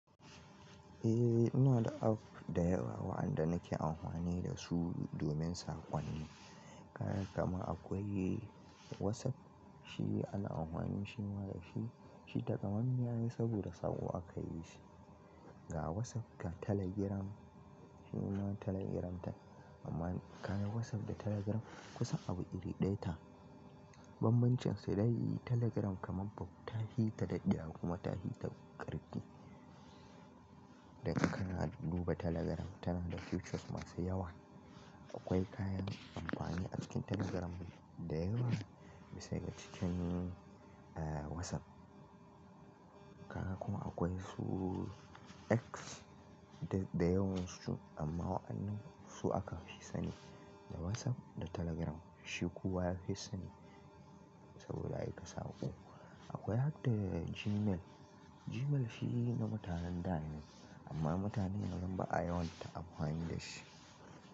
Eh, ina da app da yawa waɗanda nake amfani da su domin saƙonni. Kayan kamar akwai WhatsApp, shi ana amfani shima da shi, shi takamamme ai saboda saƙo aka yi shi. Ga WhatsApp ga Telegram, shi ma Telegram ta amma kayan WhatsApp da Telegram kusa abu iri ɗaya ta. Banbancinsu dai Telegram kamar ba ta hi ta daɗɗiya kuma ta hi ta ƙarfi. Da kana duba Telegram tana da features masu yawa. Akwai kayan amfani a cikin Telegram da yawa bisa ga cikin WhatsApp. Kaga kuma akwai su X da da yawan su amma waɗannan su aka fi sani. WhatsApp da Telegram shi kowa yafi sani sabida aika saƙo. Akwai har da Gmail. Gmail shi na mutanen da ne, amma mutanen yanzu ba yawanta amfani da shi.